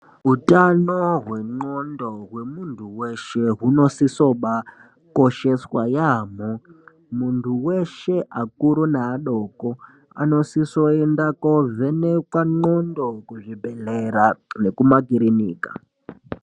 Utano hwendxondo hwemuntu weshe hunosiso ba kosheswa yambo muntu weshe akuru neadoko anosisoenda kovhenekwa ndxondo kuzvibhedhleya nekumakiriniki.